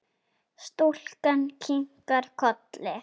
Stúlkan kinkar kolli.